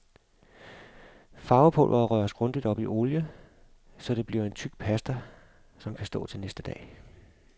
Farvepulveret røres grundigt op i olie, så det bliver en tyk pasta, som kan stå til næste dag.